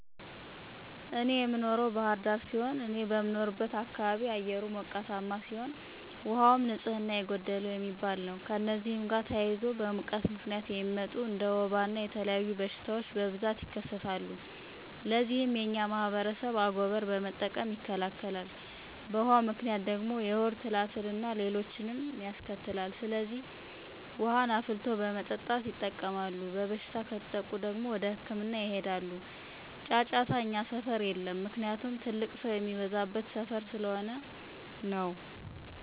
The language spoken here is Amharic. እኔ የምኖረው ባህር ዳር ሲሆን፤ እኔ በምኖርበት አካባቢ አየሩ ሞቃታ ሲሆን፤ ውሃውም ንፅህና የጎደለው የሚባል ነው። ከእነዚህም ጋር ተያይዞ በሙቀት ምክንያት የሚመጡ እንደ ወባ እና የተለያዩ በሽታወች በብዛት ይከሰታል። ለዚህም የኛ ማህበረሰብ አጎበር በመጠቀም ይከላከላል። በውሀው ምክንያት ደግሞ የሆድ ትላትል አና ሌሎችንም ያስከትላል። ስለዚህ ውሀን አፍልቶ በመጠጣት ይጠቀማል። በበሽታ ከተጠቁ ደግሞ ህክምና ያጠቀማሉ። ጫጫታ እኛ ሰፈር የለም። ምክንያቱም ትልቅ ሰው የሚበዛበት ሰፈር ስለሆነ ነው።